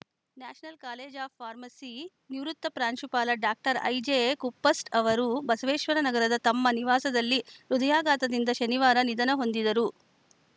national college of pharmacy ನಿವೃತ್ತ ಪ್ರಾಂಶುಪಾಲ doctor I J Kuppast ಅವರು ಬಸವೇಶ್ವರ ನಗರದ ತಮ್ಮ ನಿವಾಸದಲ್ಲಿ ಹೃದಯಾಘಾತದಿಂದ ಶನಿವಾರ ನಿಧನ ಹೊಂದಿದರು